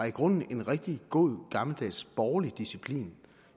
i grunden en rigtig god gammeldags borgerlig disciplin